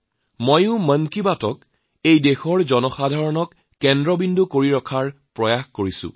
মইও মন কী বাতত এই দেশৰ জনসাধাৰণক কেন্দ্ৰ কৰি ৰখাৰ চেষ্টা কৰিছো